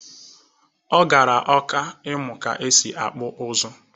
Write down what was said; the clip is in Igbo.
O gara ọka ịmụ ka e si akpụ ụzụ.